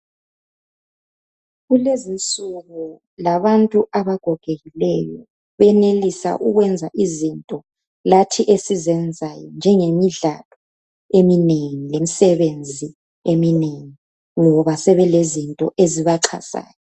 Kulezinsuku labantu abagogekileyo benelisa ukwenza izinto lathi esizenzayo, njengemidlalo eminengi lemisebenzi eminengi ngoba sebelezinto ezibachazayo.